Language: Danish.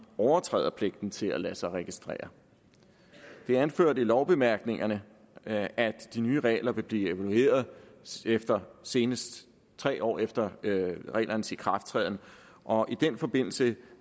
overtræder pligten til at lade sig registrere det er anført i lovbemærkningerne at at de nye regler vil blive evalueret senest tre år efter reglernes ikrafttræden og i den forbindelse